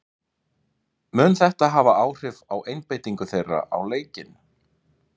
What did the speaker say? Mun þetta hafa áhrif á einbeitingu þeirra á leikinn?